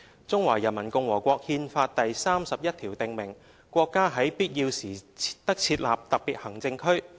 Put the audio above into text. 《中華人民共和國憲法》第三十一條訂明："國家在必要時得設立特別行政區。